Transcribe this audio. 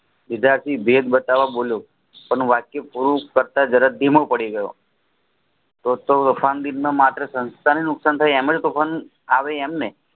વિદ્યાર્થી ભેદ બતાવ બોલો તેનું વાક્ય પૂરું કરતા જરા ધીમો પડી ગયો તેતો માં નુકસાન થાય એમને તો પણ આવે એમ ને